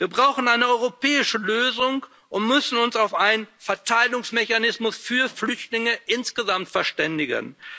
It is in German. Wir brauchen eine europäische Lösung und müssen uns auf einen Verteilungsmechanismus für Flüchtlinge insgesamt verständigen.